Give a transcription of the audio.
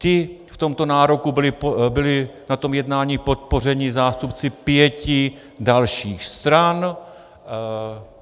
Ti v tomto nároku byli na tom jednání podpořeni zástupci pěti dalších stran.